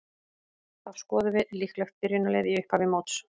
Þá skoðum við líklegt byrjunarlið í upphafi móts.